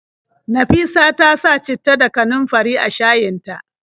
Nafisa ta sa citta da kanunfari a shayin ta.